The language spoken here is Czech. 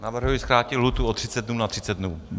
Navrhuji zkrátit lhůtu o 30 dnů na 30 dnů.